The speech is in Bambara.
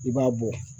I b'a bɔ